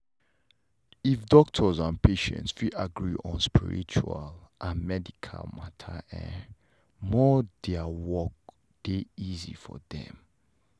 if doctors and patients fit agree on spiritual and medical matter e more their work dey easy for them